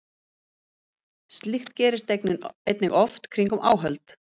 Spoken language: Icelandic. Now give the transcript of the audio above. Slíkt gerist einnig oft kringum áhöld.